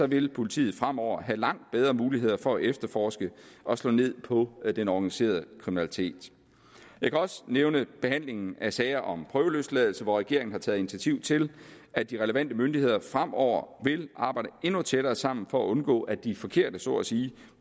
vil politiet fremover have langt bedre muligheder for at efterforske og slå ned på den organiserede kriminalitet jeg kan også nævne behandlingen af sager om prøveløsladelse hvor regeringen har taget initiativ til at de relevante myndigheder fremover vil arbejde endnu tættere sammen for at undgå at de forkerte så at sige